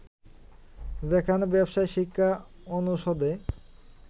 যেখানে ব্যবসায় শিক্ষা অনুষদে